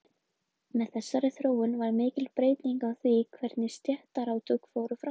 Með þessari þróun varð mikil breyting á því hvernig stéttaátök fóru fram.